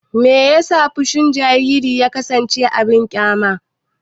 Me yasa fushin jariri ya kasance abin ƙyama?